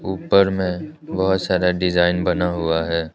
ऊपर में बहोत सारा डिजाइन बना हुआ है।